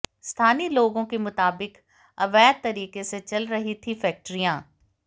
स्थानीय लोगों के मुताबिक अवैध तरीके से चल रही थीं फैक्ट्रियां